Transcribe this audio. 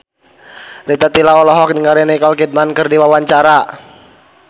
Rita Tila olohok ningali Nicole Kidman keur diwawancara